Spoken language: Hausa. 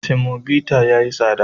Semobita ya yi tsada.